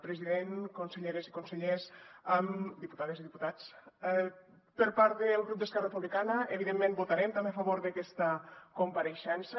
president conselleres i consellers diputades i diputats per part del grup d’esquerra republicana evidentment votarem també a favor d’aquesta compareixença